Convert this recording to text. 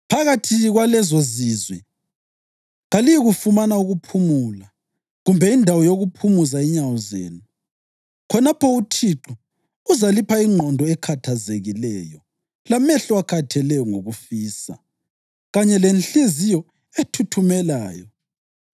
Phakathi kwalezozizwe kaliyikufumana ukuphumula, kumbe indawo yokuphumuza inyawo zenu. Khonapho uThixo uzalipha ingqondo ekhathazekileyo lamehlo akhatheleyo ngokufisa, kanye lenhliziyo ethuthumelayo.